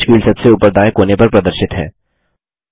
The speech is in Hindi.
सर्च फील्ड सबसे ऊपर दायें कोने पर प्रदर्शित है